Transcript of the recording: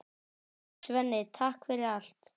Svenni, takk fyrir allt.